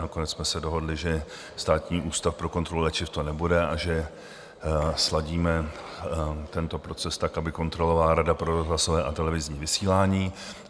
Nakonec jsme se dohodli, že Státní ústav pro kontrolu léčiv to nebude a že sladíme tento proces tak, aby kontrolovala Rada pro rozhlasové a televizní vysílání.